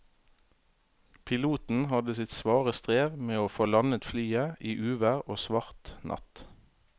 Piloten hadde sitt svare strev med å få landet flyet i uvær og svart natt.